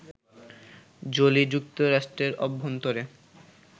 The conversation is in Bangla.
জোলি, যুক্তরাষ্ট্রের অভ্যন্তরে